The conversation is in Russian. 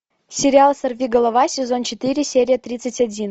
сериал сорви голова сезон четыре серия тридцать один